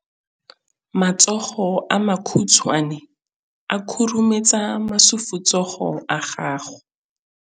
Matsogo a makhutshwane a khurumetsa masufutsogo a gago.